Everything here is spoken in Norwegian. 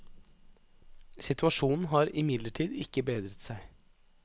Situasjonen har imidlertid ikke bedret seg.